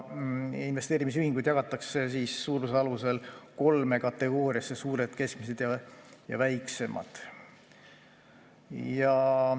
Investeerimisühingud jagatakse suuruse alusel kolme kategooriasse: suured, keskmised ja väiksemad.